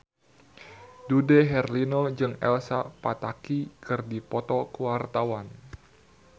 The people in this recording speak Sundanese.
Dude Herlino jeung Elsa Pataky keur dipoto ku wartawan